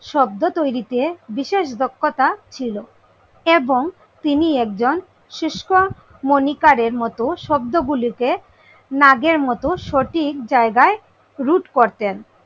শব্দ তৈরিতে বিশেষ দক্ষতা ছিল। এবং তিনি একজন শুস্ক মনিকারের মতো শব্দ গুলিকে নাগের মতো সঠিক জায়গায় রূট করতেন।